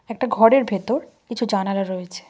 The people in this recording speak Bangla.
একটা ঘরের ভেতর কিছু জানালা রয়েছে।